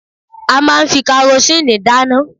A máa fi karosíìnì dáná.